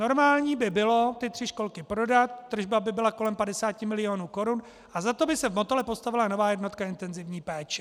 Normální by bylo ty tři školky prodat, tržba by byla kolem 50 milionů korun a za to by se v Motole postavila nová jednotka intenzivní péče.